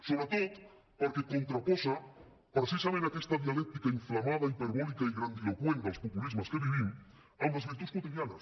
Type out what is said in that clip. sobretot perquè contraposa precisament aquesta dialèctica inflamada hiperbòlica i grandiloqüent dels populismes que vivim amb les virtuts quotidianes